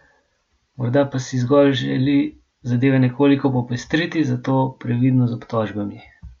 Morda pa si zgolj želi zadeve nekoliko popestriti, zato previdno z obtožbami!